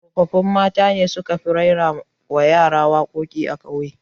Tsoffin mata ne su ka fi raira wa yara waƙa a ƙauye